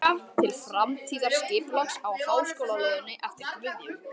Tillaga til framtíðarskipulags á háskólalóðinni eftir Guðjón